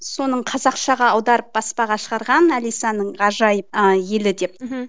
соның қазақшаға аударып баспаға шығарған алисаның ғажайып ы елі деп мхм